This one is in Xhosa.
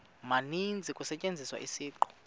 maninzi kusetyenziswa isiqu